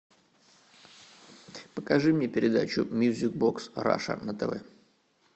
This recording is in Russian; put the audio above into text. покажи мне передачу мьюзик бокс раша на тв